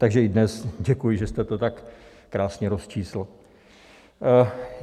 Takže i dnes, děkuji, že jste to tak krásně rozčísl.